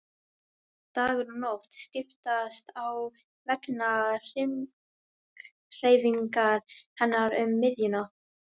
Dagur og nótt skiptast á vegna hringhreyfingar hennar um miðjuna.